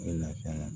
A bɛ lafiya